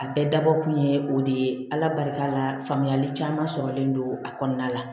A bɛɛ dabɔ kun ye o de ye ala barika la faamuyali caman sɔrɔlen don a kɔnɔna la